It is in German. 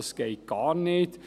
Das geht gar nicht.